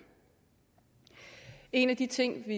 en af de ting